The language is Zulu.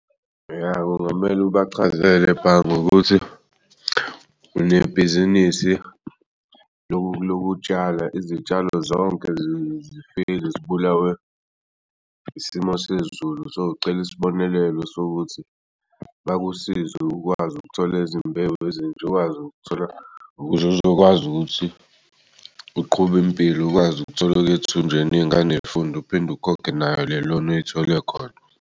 Ya, kungamele ubachazele ebhangi ukuthi unebhizinisi lokutshala izitshalo zonkezifike zibulawe isimo sezulu sowucela isibonelelo sokuthi bakusize ukwazi ukuthola izimbewu ukuz'uzokwazi ukuthi uqhub'impilo ukwazi ukuthola okuy'ethunjini iy'ngane y'funde uphinde ukhokhe nayo le-loan oyithole khona.